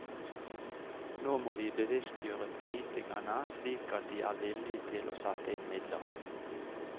Nå må vi bevisstgjøre politikerne, slik at de er villige til å sette inn midler.